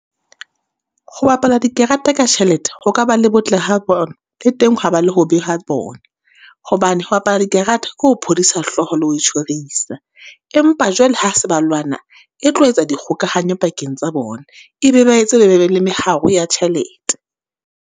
Ho bapala dikarata ka tjhelete ho ka ba le botle ha bona, le teng ha ba le hobe ha bona. Hobane ho bapala di karata, ke ho phodisa hloho le ho itshwarisa. Empa jwale ha se ba lwana, e tlo etsa di kgokahanyo pakeng tsa bona, e be ba etse ba be le meharo ya tjhelete.